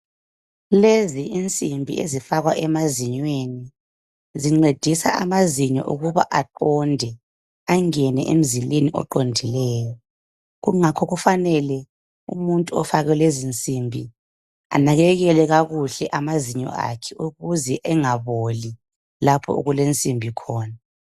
Lezi insimbi ezifakwa emazinyweni , zincedisa amazinyo ukuba aqonde angene emzileni oqondileyo. Ingakho kufanele umuntu ofake lezi insimbi anakekele amazinyo akhe ukuze angaboli lapho okulensimbi khona.